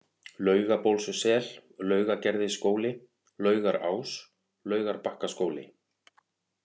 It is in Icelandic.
Laugabólssel, Laugagerðisskóli, Laugaraás, Laugarbakkaskóli